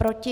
Proti?